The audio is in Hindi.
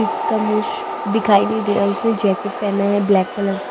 इसका मुंह दिखाई नहीं दे रहा उसने जैकेट पहना है ब्लैक कलर का--